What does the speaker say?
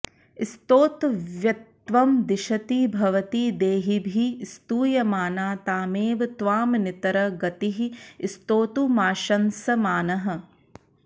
स्तोतव्यत्वं दिशति भवती देहिभिः स्तूयमाना तामेव त्वामनितर गतिः स्तोतुमाशंसमानः